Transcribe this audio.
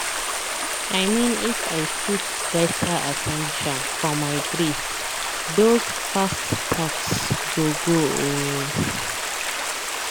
i mean if i put better at ten tion for my breath those fast thoughts go cool.